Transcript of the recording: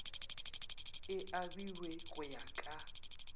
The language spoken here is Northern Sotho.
e abiwe go ya ka